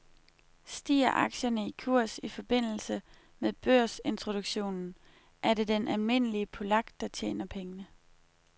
Stiger aktierne i kurs i forbindelse med børsintroduktionen er det den almindelige polak, der tjener pengene.